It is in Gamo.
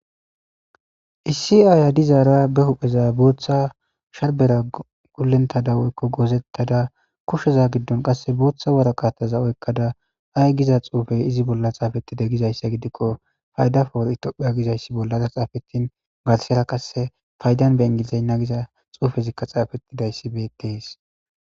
Issi aaya dizaara ba huupheera booththa sharbbedankkogulleththadankko gullenththada woykko goozenththada kusheza giddon qa booththa waraqatheza oykkaza ayi giza tsuufee iza bolla thaafeththidee gizayssa gidikko adappa ethoophiyaa bolla tsaafethin garsseera qasse faydan be inggilizigna giza tsuufezikka tsaafeththidayssi beeththees.